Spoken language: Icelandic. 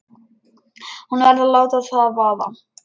Hún verður að láta það vaða.